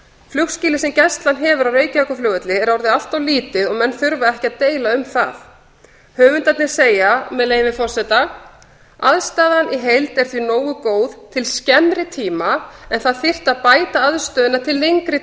flugskýlið sem gæslan hefur á reykjavíkurflugvelli er orðið allt of lítið og menn þurfa ekki að deila um það höfundarnir segja með leyfi forseta aðstaðan í heild er því nógu góð til skemmri tíma en það þyrfti að bæta aðstöðuna til lengri